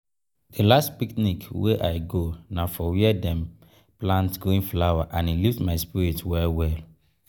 every time wey i snap foto for inside bush um e dey jinja me make i um dey um creative.